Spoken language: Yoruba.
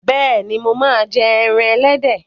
Bẹ́ẹ̀ni, mo máa ń jẹ ẹran ẹlẹ́dẹ̀